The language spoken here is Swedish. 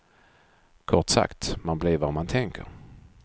Kort sagt, man blir vad man tänker.